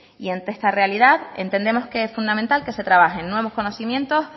y ante esa realidad entendemos que es fundamental que se trabajen nuevos conocimientos